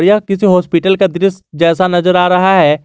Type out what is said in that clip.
यह किसी हॉस्पिटल का दृश्य जैसा नजर आ रहा है।